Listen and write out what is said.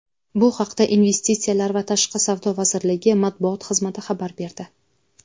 Bu haqda Investitsiyalar va tashqi savdo vazirligi Matbuot xizmati xabar berdi.